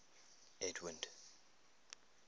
edwind